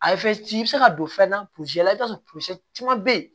A ye i bɛ se ka don fɛn na la i bɛ t'a sɔrɔ caman bɛ yen